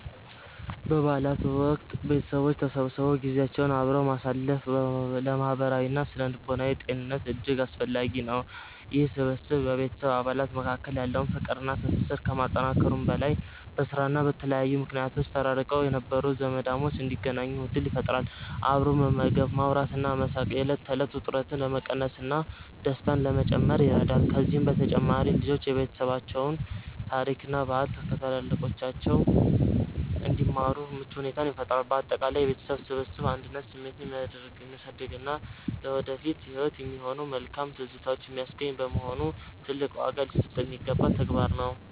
በበዓላት ወቅት ቤተሰቦች ተሰብስበው ጊዜያቸውን አብረው ማሳለፍ ለማህበራዊና ስነ-ልቦናዊ ጤንነት እጅግ አስፈላጊ ነው። ይህ ስብስብ በቤተሰብ አባላት መካከል ያለውን ፍቅርና ትስስር ከማጠናከሩም በላይ፣ በስራና በተለያዩ ምክንያቶች ተራርቀው የነበሩ ዘመዳሞች እንዲገናኙ ዕድል ይፈጥራል። አብሮ መመገብ፣ ማውራትና መሳቅ የዕለት ተዕለት ውጥረትን ለመቀነስና ደስታን ለመጨመር ይረዳል። ከዚህም በተጨማሪ ልጆች የቤተሰባቸውን ታሪክና ባህል ከታላላቆቻቸው እንዲማሩ ምቹ ሁኔታን ይፈጥራል። ባጠቃላይ የቤተሰብ ስብስብ የአንድነት ስሜትን የሚያሳድግና ለወደፊት ህይወት የሚሆኑ መልካም ትዝታዎችን የሚያስገኝ በመሆኑ፣ ትልቅ ዋጋ ሊሰጠው የሚገባ ተግባር ነው።